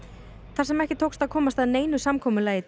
þar sem ekki tókst að komast að neinu samkomulagi